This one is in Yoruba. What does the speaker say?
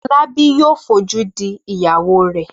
Fọlábí yóò fojú di ìyàwó rẹ̀.